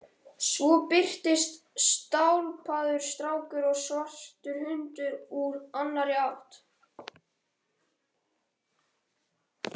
Svo birtast stálpaður strákur og svartur hundur úr annarri átt.